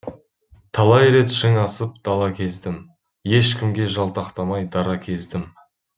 талай рет шың асып дала кездім ешкімге жалтақтамай дара кездім